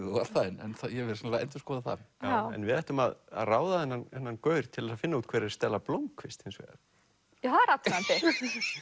og allt það en ég verð sennilega að endurskoða það en við ættum að ráða þennan þennan gaur til að finna út hver er Stella blómkvist hins vegar það er athugandi við